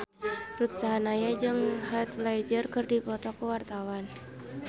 Ruth Sahanaya jeung Heath Ledger keur dipoto ku wartawan